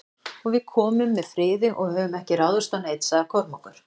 Og við komum með friði og höfum ekki ráðist á neinn, sagði Kormákur.